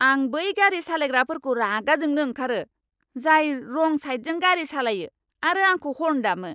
आं बै गारि सालायग्राफोरखौ रागा जोंनो ओंखारो, जाय रं साइदजों गारि सालायो आरो आंखौ हर्न दामो।